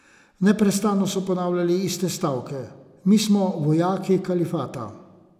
Neprestano so ponavljali iste stavke: "Mi smo vojaki kalifata.